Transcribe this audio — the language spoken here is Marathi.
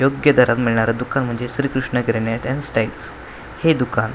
योग्य दरात मिळणारं दुकान म्हणजे Shrikrishna Kirana at and styles हे दुकान --